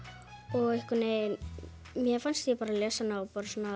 og einhvern veginn mér fannst ég lesa hana á